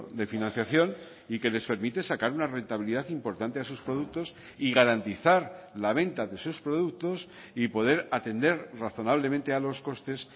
de financiación y que les permite sacar una rentabilidad importante a sus productos y garantizar la venta de sus productos y poder atender razonablemente a los costes